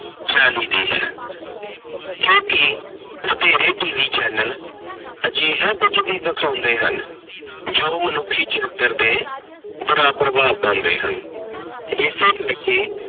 ਚਾਹੀਦੀ ਹੈ, ਕਿਉਂਕਿ ਵਧੇਰੇ TV ਚੈਨਲ ਅਜਿਹਾ ਕੁੱਝ ਵੀ ਦਿਖਾਉਂਦੇ ਹਨ ਜੋ ਮਨੁੱਖੀ ਚਰਿੱਤਰ ਤੇ ਬੁਰਾ ਪ੍ਰਭਾਵ ਪਾਉਂਦੇ ਹਨ। ਇਸੇ ਕਰਕੇ